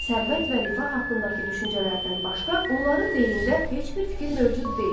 Sərvət və rifah haqqındakı düşüncələrdən başqa onların beynində heç bir fikir mövcud deyil.